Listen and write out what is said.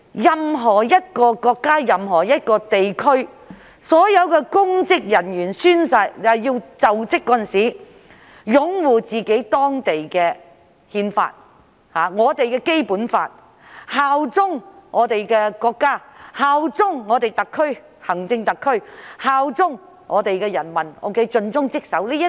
任何國家和地區的公職人員在就職時，均須宣誓擁護當地的憲法。正如我們須擁護《基本法》、效忠中國、效忠香港特別行政區、效忠人民，盡忠職守。